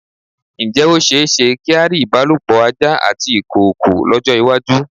Ǹjẹ́ ó ṣe-éṣe kí á rí ìbálòpọ̀ ajá àti ìkoòkò lọ́jọ́-ìwájú?